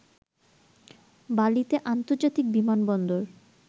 বালিতে আন্তর্জাতিক বিমানবন্দর